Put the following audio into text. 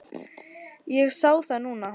Ég sé það núna.